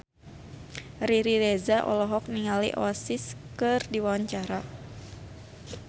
Riri Reza olohok ningali Oasis keur diwawancara